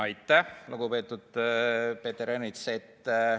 Aitäh, lugupeetud Peeter Ernits!